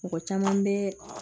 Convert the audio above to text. Mɔgɔ caman bɛ